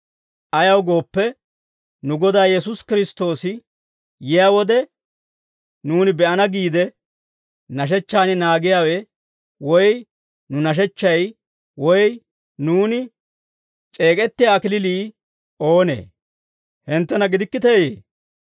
Ayaw gooppe, nu Godaa Yesuusi Kiristtoosi yiyaa wode, nuuni be'ana giide nashechchan naagiyaawe, woy nu nashechchay, woy nuuni c'eek'ettiyaa kalachchay oonee? Hinttena gidikkiteeyee?